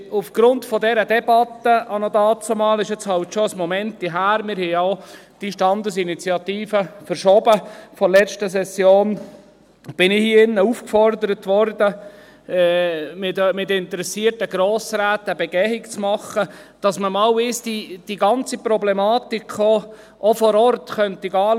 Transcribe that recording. Aufgrund der damaligen Debatte – es ist halt nun schon einen Moment her, und wir haben diese Standesinitiative ja auch von der letzten Session verschoben – wurde ich hier aufgefordert, mit interessierten Grossräten eine Begehung zu machen, damit man sich einmal die ganze Problematik vor Ort anschauen kann.